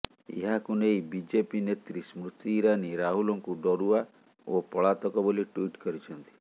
ଏହାକୁ ନେଇ ବିଜେପି ନେତ୍ରୀ ସ୍ମୃତି ଇରାନୀ ରାହୁଲଙ୍କୁ ଡରୁଆ ଓ ପଳାତକ ବୋଲି ଟ୍ବିଟ କରିଛନ୍ତି